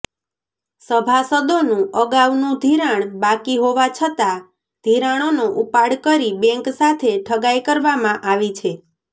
સભાસદોનુ અગાઉનુ ધિરાણ બાકી હોવા છતાં ધિરાણોનો ઉપાડ કરી બેંક સાથે ઠગાઈ કરવામાં આવી છે